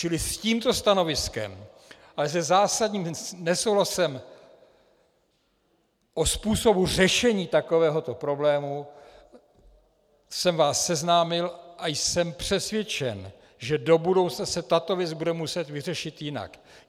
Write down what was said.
Čili s tímto stanoviskem a se zásadním nesouhlasem o způsobu řešení takovéhoto problému jsem vás seznámil a jsem přesvědčen, že do budoucna se tato věc bude muset vyřešit jinak.